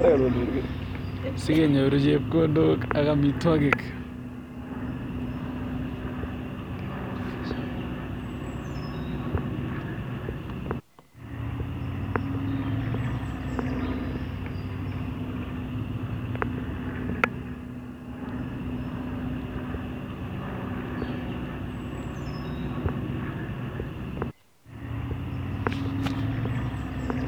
Sigenyoru chepkondok ak amitwogik.